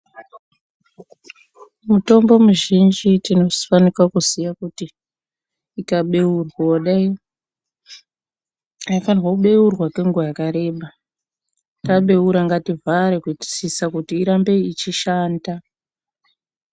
Mutombo mizhinji tinofanika kuziya kuti ikabeurwa kudai , aifanhwi kubeurwa kenguva yakareba ,tabeura ngativhare kutisisa kuti irambe ichishanda.